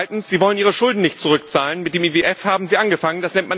Zweitens Sie wollen ihre Schulden nicht zurückzahlen, mit dem IWF haben sie angefangen